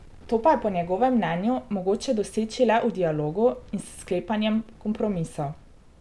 To pa je po njegovem mnenju mogoče doseči le v dialogu in s sklepanjem kompromisov.